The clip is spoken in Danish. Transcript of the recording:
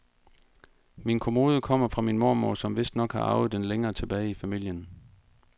Min kommode kommer fra min mormor, som vistnok har arvet den længere tilbage i familien.